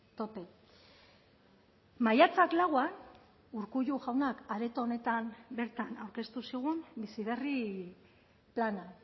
tope maiatzak lauan urkullu jaunak areto honetan bertan aurkeztu zigun bizi berri plana